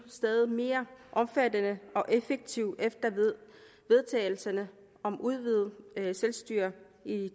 stadig mere omfattende og effektivt efter vedtagelserne om udvidet selvstyre i